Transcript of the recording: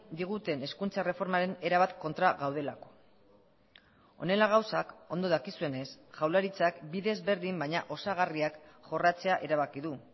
diguten hezkuntza erreformaren erabat kontra gaudelako honela gauzak ondo dakizuenez jaurlaritzak bide ezberdin baina osagarriak jorratzea erabaki du